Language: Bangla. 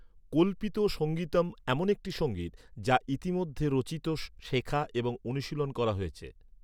কল্পিত সঙ্গীতম এমন একটি সঙ্গীত, যা ইতিমধ্যে রচিত, শেখা এবং অনুশীলন করা হয়েছে।